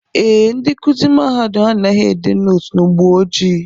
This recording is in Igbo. Ee, ndị nkụzi mahadum anaghị ede nootu n'ugbo ojii